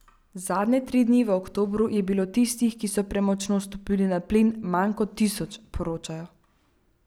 Zadnje tri dni v oktobru je bilo tistih, ki so premočno stopili na plin, manj kot tisoč, poročajo.